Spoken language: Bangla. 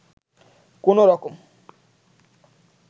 কোনো রকম